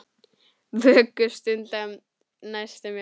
Vöku stunda um nætur má.